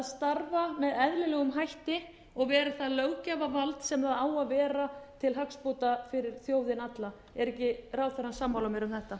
starfa með eðlilegum hætti og verið það löggjafarvald sem það á að vera til hagsbóta fara þjóðina alla er ekki ráðherrann sammála mér um þetta